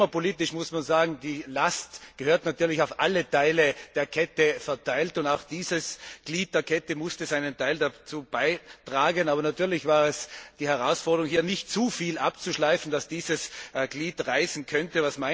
Klimapolitisch muss man sagen, die Last gehört natürlich auf alle Glieder der Kette verteilt, und auch dieses Glied der Kette musste seinen Teil dazu beitragen. Aber natürlich war es eine Herausforderung, hier nicht so viel abzuschleifen, dass dieses Glied reißen könnte.